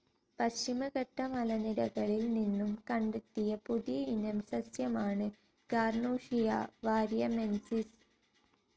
പശ്ചിമഘട്ട മലനിരകളിൽ നിന്നും കണ്ടെത്തിയ പുതിയ ഇനം സസ്യമാണ് ഗാർനോഷിയ വാരിയമെൻസിസ്.